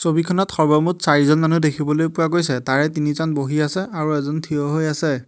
ছবিখনত সৰ্বমুঠ চাৰিজন মানুহ দেখিবলৈ পোৱা গৈছে তাৰে তিনিজন বহি আছে আৰু এজন থিয় হৈ আছে।